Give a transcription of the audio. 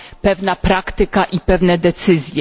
pewna praktyka i pewne decyzje.